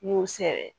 N y'o sɛbɛ